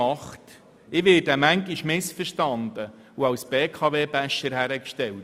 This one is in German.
Ich werde manchmal missverstanden und als «BKW-Basher» hingestellt;